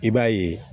I b'a ye